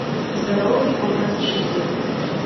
здоровый образ жизни